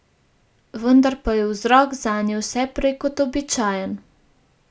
Vendar pa je vzrok zanje vse prej kot običajen.